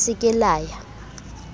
le se ke la ya